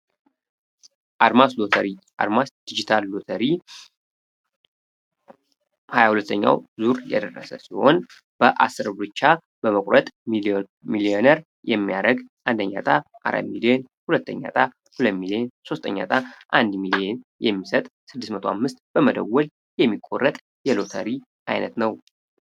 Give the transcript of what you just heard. አድማስ ሎተሪ አድማስ ዲጂታል ሎተሪ ሀያ ሁለተኛው ዙር እየደረሰ ሲሆን በ 10 ብር ብቻ በመቁረጥ ሚሊየነር የሚያደርግ ሁለተኛ ሚሊዮን ሶስተኛ እጣ አንድ ሚሊዮን የሚሰጥ 605 በመደወል የሚቆረጥ የሎተሪ አይነት ነው።